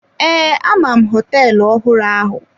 Ee, ama m hoteelu ọhụrụ ahụ.